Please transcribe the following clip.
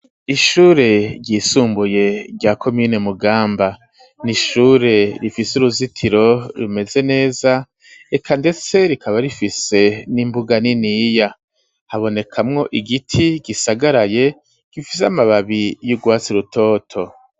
Ishure ryisumbuye rya komine mugamba ni ishure rifise uruzitiro rumeze neza eka, ndetse rikaba rifise n'imbuga niniya habonekamwo igiti gisagaraye gifise amababi y'urwatsi rutoto.